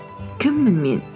кіммін мен